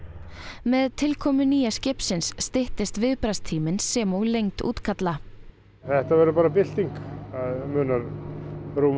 með tilkomu nýja skipsins styttist viðbragðstíminn sem og lengd útkalla þetta verður bara bylting það munar rúmum